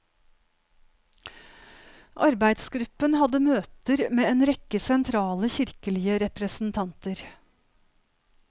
Arbeidsgruppen hadde møter med en rekke sentrale kirkelige representanter.